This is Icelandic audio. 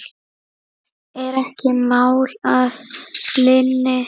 Er ekki mál að linni?